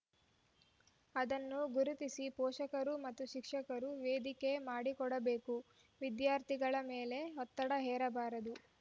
ಅದನ್ನು ಗುರುತಿಸಿ ಪೋಷಕರು ಮತ್ತು ಶಿಕ್ಷಕರು ವೇದಿಕೆ ಮಾಡಿಕೊಡಬೇಕುವಿದ್ಯಾರ್ಥಿಗಳ ಮೇಲೆ ಒತ್ತಡ ಹೇರಬಾರದು